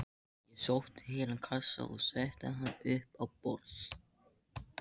Ég sótti heilan kassa og setti hann upp á borð.